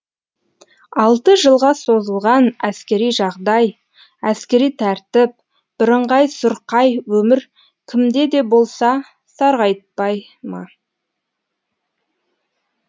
алты жылға созылған әскери жағдай әскери тәртіп бірыңғай сұрқай өмір кімде де болса сарғайтпай ма